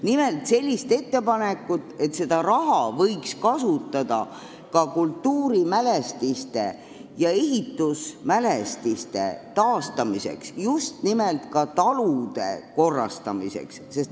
Nimelt tehti ettepanek, et seda raha võiks kasutada ka kultuuri- ja ehitusmälestiste taastamiseks, sh ka talude kordategemiseks.